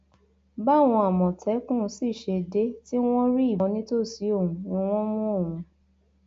báwọn àmọtẹkùn sì ṣe dé tí wọn rí ìbọn nítòsí òun ni wọn mú òun